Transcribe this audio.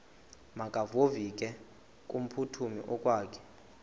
makevovike kumphuthumi okokwakhe